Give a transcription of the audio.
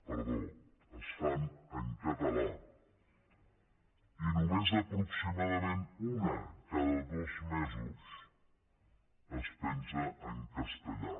perdó es fan en català i només aproximadament una cada dos mesos es penja en castellà